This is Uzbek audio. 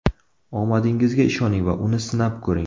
Omadingizga ishoning va uni sinab ko‘ring!